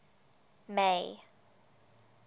may